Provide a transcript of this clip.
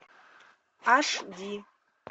аш ди